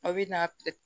A bɛ na